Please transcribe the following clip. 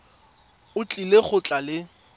o tlile go tla le